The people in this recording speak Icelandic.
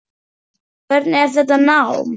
Hvernig er þetta nám?